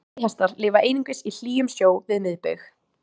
Sæhestar lifa einungis í hlýjum sjó við miðbaug.